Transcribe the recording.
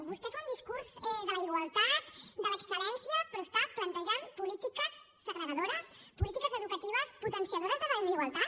vostè fa un discurs de la igualtat de l’excel·lència però està plantejant polítiques segregadores polítiques educatives potenciadores de desigualtat